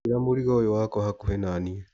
Njigĩra mũrigo ũyũ wakwa hakũhĩ nanie.